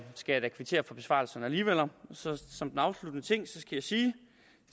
skal jeg da kvittere for besvarelsen alligevel og som den afsluttende ting skal jeg sige